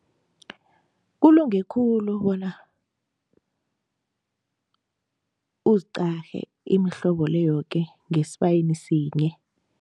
Kulunge khulu bona uziqale imihlobo le yoke ngesibayeni sinye.